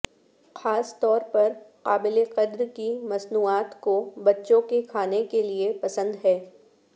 خاص طور پر قابل قدر کی مصنوعات کو بچوں کے کھانے کے لئے پسند ہے